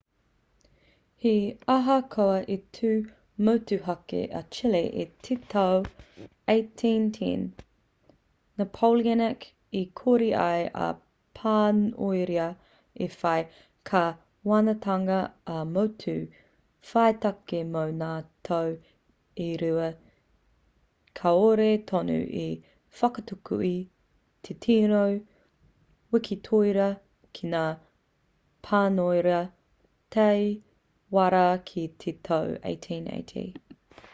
he ahakoa i tū motuhake a chile i te tau 1810 i roto i te wā o ngā pakanga napoleonic i kore ai a pāniora i whai kāwanatanga ā-motu whaitake mō ngā tau e rua kāore tonu i whakatutuki te tino wikitoria ki ngā pāniora tae rawa ki te tau 1818